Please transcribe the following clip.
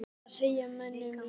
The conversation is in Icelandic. En hvað segja menn um leikinn?